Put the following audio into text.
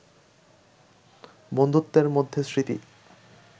বন্ধুত্বের মধ্যে স্মৃতি